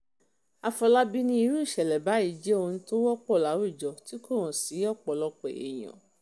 àfọlábàbí ní irú ìṣẹ̀lẹ̀ báyìí jẹ́ ohun tó wọ́pọ̀ láwùjọ tí kò hàn sí ọ̀pọ̀lọpọ̀ èèyàn